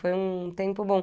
Foi um tempo bom.